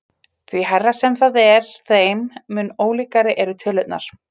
Því hærra sem það er þeim mun ólíkari eru tölurnar.